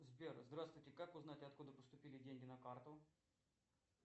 сбер здравствуйте как узнать откуда поступили деньги на карту